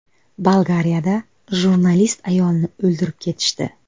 Bolgariyada jurnalist ayolni o‘ldirib ketishdi.